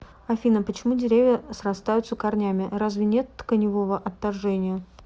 афина почему деревья срастаются корнями разве нет тканевого отторжения